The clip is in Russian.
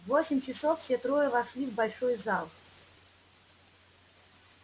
в восемь часов все трое вошли в большой зал